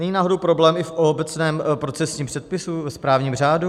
Není náhodou problém i v obecném procesním předpisu, ve správním řádu?